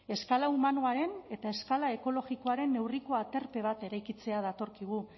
eskala humanoaren eta eskala ekologikoaren neurriko aterpe bat eraikitzea datorkigu